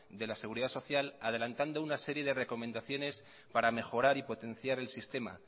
de la seguridad social adelantando una serie de recomendaciones para mejorar y potenciar el sistema